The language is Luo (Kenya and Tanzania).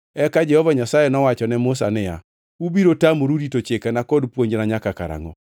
Eka Jehova Nyasaye nowacho ne Musa niya, “Ubiro tamoru rito chikena kod puonjna nyaka karangʼo?”